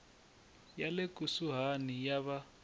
ya le kusuhani ya va